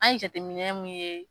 An ye jateminɛn mun ye.